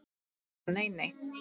Budda: Nei, nei.